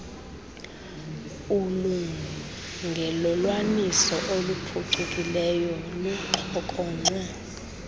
ulungelelwaniso oluphucukileyo kuxhokonxwe